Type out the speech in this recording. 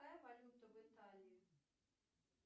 какая валюта в италии